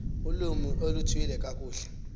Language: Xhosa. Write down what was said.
ulwimi oluthile kakuhle